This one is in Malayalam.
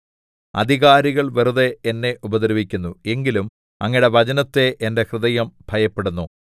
അധികാരികള്‍ വെറുതെ എന്നെ ഉപദ്രവിക്കുന്നു എങ്കിലും അങ്ങയുടെ വചനത്തെ എന്റെ ഹൃദയം ഭയപ്പെടുന്നു